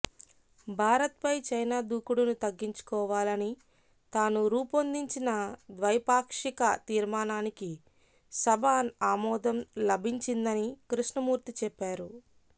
భారత్పై చైనా దూకుడును తగ్గించుకోవాలని తాను రూపొందించిన ద్వైపాక్షిక తీర్మానానికి సభ ఆమోదం లభించిందని కృష్ణమూర్తి చెప్పారు